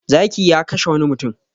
Zaki ya kashe wani mutum.